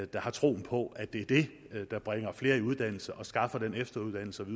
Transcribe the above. der har troen på at det er det der bringer flere i uddannelse og skaffer den efteruddannelse